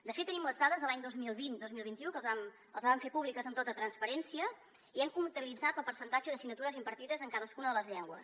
de fet tenim les dades de l’any dos mil vint dos mil vint u que les vam fer públiques amb tota transparència i hem comptabilitzat el percentatge d’assignatures impartides en cadascuna de les llengües